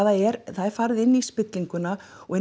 það er það er farið inn í spillinguna og